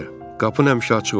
Qapın həmişə açıq olur.